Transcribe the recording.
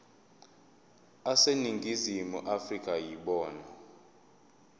aseningizimu afrika yibona